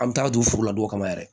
An bɛ taa don furu la donw kama yɛrɛ